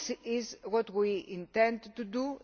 to. This is what we intend to